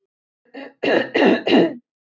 Sirkus Sóley til Akureyrar í október